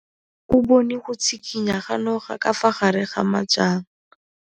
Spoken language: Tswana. O bone go tshikinya ga noga ka fa gare ga majang.